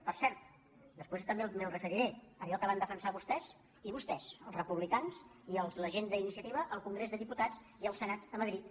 per cert després també m’hi referiré allò que van defensar vostès i vostès els republicans i la gent d’iniciativa al congrés dels di·putats i al senat a madrid